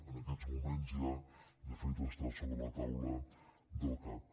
en aquests moments ja de fet està sobre la taula del cac